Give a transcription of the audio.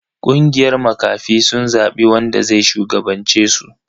Kungiyar makafi sun zabi wanda zai shugabance su.